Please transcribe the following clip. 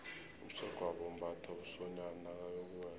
umsegwabo umbatha umsonyani nakayokuwela